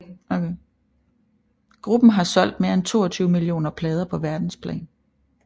Gruppen har solgt mere end 22 millioner plader på verdensplan